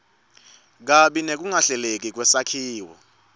kabi nekungahleleki kwesakhiwo